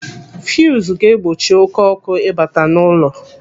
Fuzu ga-egbochi oké ọkụ ịbata n'ụlọ.